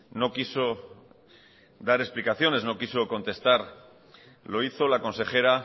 no quiso dar explicaciones no quiso contestar lo hizo la consejera